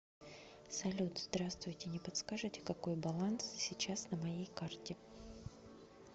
салют здравствуйте не подскажите какой баланс сейчас на моей карте